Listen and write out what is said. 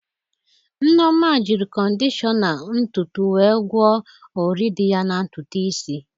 Nneoma jịrị kọdishọna ntutu wee gwọọ ọrị dị ya na ntutu isi.